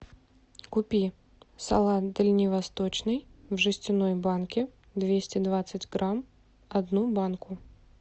купи салат дальневосточный в жестяной банке двести двадцать грамм одну банку